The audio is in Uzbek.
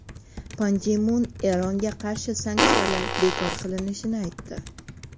Pan Gi Mun Eronga qarshi sanksiyalar bekor qilinishini aytdi.